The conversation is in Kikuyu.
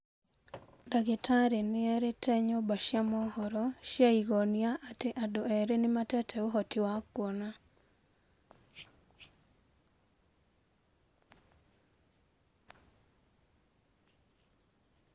Dagĩ tarĩ nĩ erĩ te nyũmba cĩ a mohoro cĩ a Igonia atĩ adũ erĩ nĩ matete ũhoti wa kuona